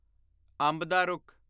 ਅੰਬ ਦਾ ਰੁੱਖ